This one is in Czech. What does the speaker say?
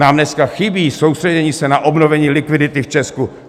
Nám dneska chybí soustředění se na obnovení likvidity v Česku.